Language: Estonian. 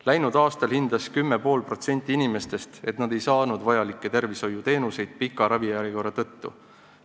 Läinud aastal hindas 10,5% inimestest, et nad ei saanud vajalikke tervishoiuteenuseid pika ravijärjekorra tõttu.